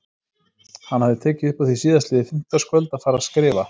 Hann hafði tekið upp á því síðastliðið fimmtudagskvöld að fara að skrifa.